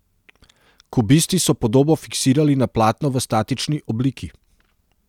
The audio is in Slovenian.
Kubisti so podobo fiksirali na platno v statični obliki.